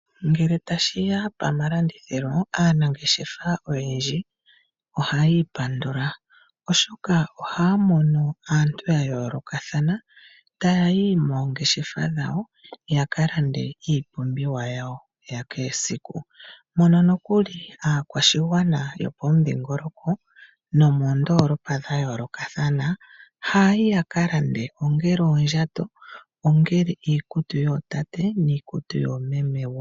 Ngele tashi ya pomalandithilo aanangeshefa oyendji ohayi ipandula, oshoka ohaya mono aantu ya yoolokothana ta yayi moongeshefa dhawo ya ka lande iipumbiwa yawo ya kehesiku. Aakwashigwana yomomudhingoloko nomoondolopa dha yooloka haya yi ya ka lande ongele oondjato, iikutu yoomeme noyootate.